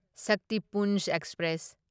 Shaktipunj express